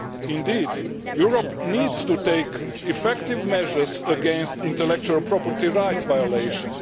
Indeed, Europe needs to take effective measures against intellectual property rights violations.